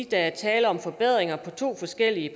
der er tale om forbedringer på to forskellige